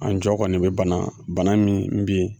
An jɔ kɔni bɛ bana bana min bɛ ye